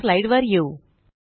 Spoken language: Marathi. पुन्हा स्लाइड वर येऊ